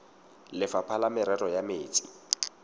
lefapha la merero ya metsi